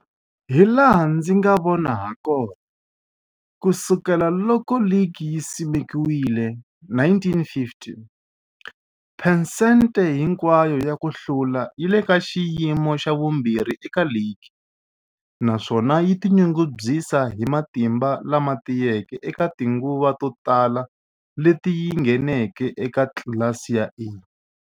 Hilaha ndzi nga vona hakona, ku sukela loko ligi yi simekiwile, 1950, phesente hinkwayo ya ku hlula yi le ka xiyimo xa vumbirhi eka ligi, naswona yi tinyungubyisa hi matimba lama tiyeke eka tinguva to tala leti yi ngheneke eka tlilasi ya A.